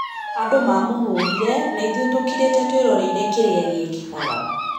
"Andũ, mamũhũrire, naithũĩ tũkirĩte tũĩroreire kĩrĩa gĩekĩkaga."